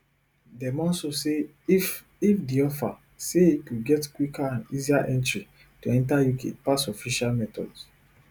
dem also say if if di offer say you go get quicker and easier entry to enta uk pass official methods